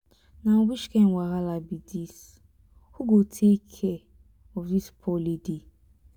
na which kin wahala be dis. who go take care of dis poor lady.